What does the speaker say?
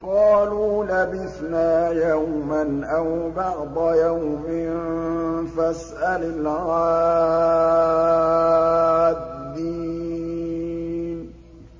قَالُوا لَبِثْنَا يَوْمًا أَوْ بَعْضَ يَوْمٍ فَاسْأَلِ الْعَادِّينَ